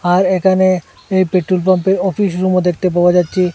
আর এখানে এই পেট্রোলপাম্পের অফিস রুমও দেখতে পাওয়া যাচ্ছে।